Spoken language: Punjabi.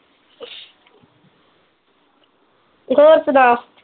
ਹੋਰ ਸੁਣਾ?